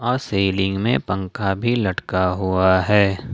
Ceiling में पंखा भी लटका हुआ है।